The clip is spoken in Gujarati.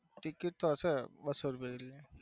ટિકિટ તો હશે બસો જેવી.